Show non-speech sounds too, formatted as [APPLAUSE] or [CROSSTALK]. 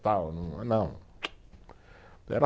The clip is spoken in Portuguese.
Tal [UNINTELLIGIBLE] não [CLICKS TONGUE]